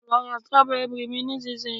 lo ra strawberry mi nisinsinyi